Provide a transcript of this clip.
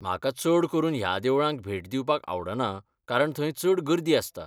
म्हाका चड करून ह्या देवळांक भेट दिवपाक आवडना कारण थंय चड गर्दी आसता.